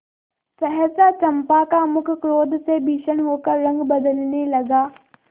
सहसा चंपा का मुख क्रोध से भीषण होकर रंग बदलने लगा